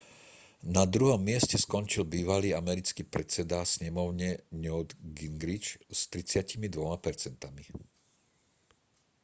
na druhom mieste skončil bývalý americký predseda snemovne newt gingrich s 32 percentami